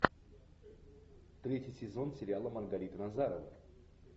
третий сезон сериала маргарита назарова